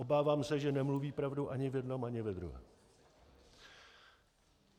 Obávám se, že nemluví pravdu ani v jednom ani ve druhém.